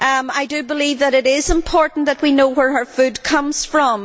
I do believe that it is important that we know where our food comes from.